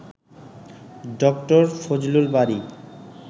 ডা. ফজলুল বারী